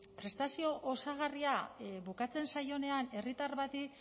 prestazio osagarria bukatzen zaionean herritar bati